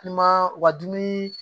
I ma u ka dumuni